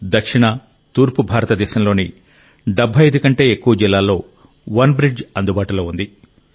దక్షిణ తూర్పు భారతదేశంలోని 75 కంటే ఎక్కువ జిల్లాల్లో వన్బ్రిడ్జ్ అందుబాటులో ఉంది